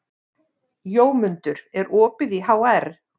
Jómundur, er opið í HR?